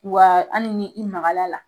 Wa hali ni i magalala.